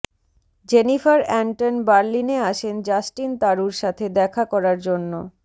Jennifer Anton বার্লিনে আসেন Justin তারুর সাথে দেখা করার জন্য